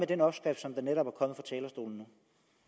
den opskrift som der netop